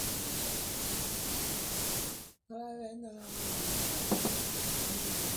ore eunoto oompoosho neitobiri olchamba aapik irmong'i aashu olterekita